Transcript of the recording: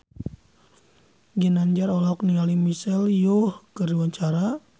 Ginanjar olohok ningali Michelle Yeoh keur diwawancara